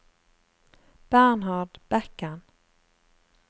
Bernhard Bekken